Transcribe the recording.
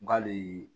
Nga le